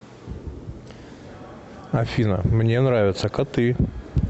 афина мне нравятся коты